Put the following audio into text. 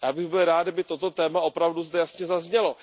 Já bych byl rád, kdyby toto téma opravdu zde jasně zaznělo.